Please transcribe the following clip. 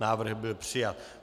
Návrh byl přijat.